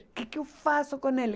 O que que eu faço com ele?